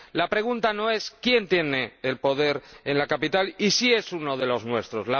La pregunta no es quién tiene el poder en la capital y si es uno de los nuestros.